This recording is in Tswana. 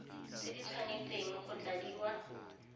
tse di tshwanesteng go tladiwa